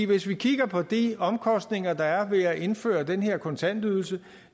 hvis vi kigger på de omkostninger der er ved at indføre den her kontantydelse